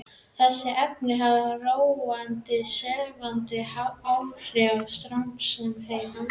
Þessi efni hafa róandi og sefandi áhrif á starfsemi heilans.